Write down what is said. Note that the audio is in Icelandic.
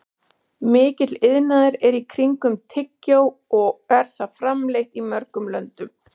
Mikill iðnaður er í kringum tyggjó og er það framleitt í mörgum löndum.